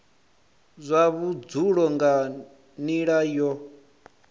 zwa vhudzulo nga nila yo